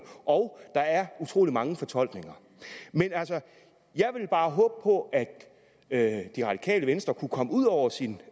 og utrolig mange fortolkninger jeg vil bare håbe på at at det radikale venstre kunne komme ud over sin